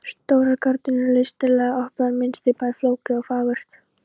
Stórar gardínurnar eru listilega ofnar, mynstrið bæði flókið og fagurt.